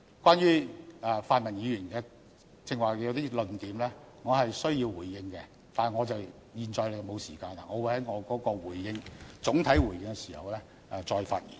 關於泛民議員剛才一些論點，我是需要回應的，但我現在沒有時間，我會在總體回應時再發言。